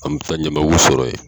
An bɛ taa ɲamaku sɔrɔ yen